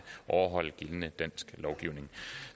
overholde gældende dansk lovgivning